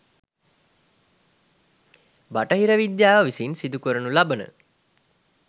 බටහිර විද්‍යාව විසින් සිදු කරනු ලබන